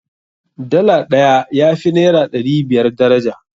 Dala ɗaya ya fi naira ɗari biyar daraja.